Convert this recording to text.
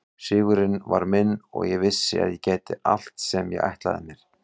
Sigurinn var minn og ég vissi að ég gæti allt sem ég ætlaði mér.